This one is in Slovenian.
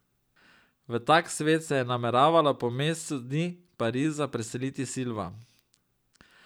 V tak svet se je nameravala po mesecu dni Pariza preseliti Silva.